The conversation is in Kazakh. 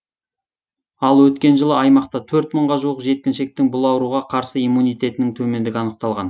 ал өткен жылы аймақта төрт мыңға жуық жеткіншектің бұл ауруға қарсы иммунитетінің төмендігі анықталған